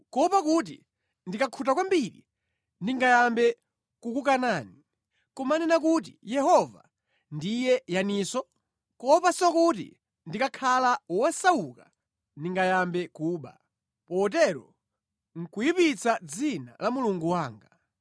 kuopa kuti ndikakhuta kwambiri ndingayambe kukukanani, nʼkumanena kuti, ‘Yehova ndiye yaninso?’ Kuopanso kuti ndikakhala wosauka ndingayambe kuba, potero nʼkuyipitsa dzina la Mulungu wanga.”